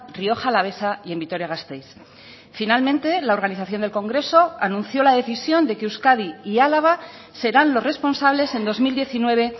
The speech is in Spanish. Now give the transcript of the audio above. rioja alavesa y en vitoria gasteiz finalmente la organización del congreso anuncio la decisión de que euskadi y álava serán los responsables en dos mil diecinueve